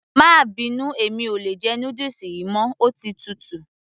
má bínú, mi ò lè jẹ noodles yìí mọ́, ó ti tutù